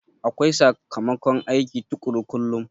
Akwai sakamakon aiki tukuru kullum